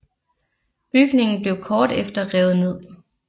Bygningen blev kort efter revet ned